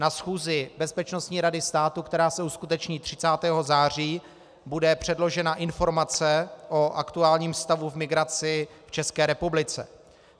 Na schůzi Bezpečnostní rady státu, která se uskuteční 30. září, bude předložena informace o aktuálním stavu v migraci v České republice.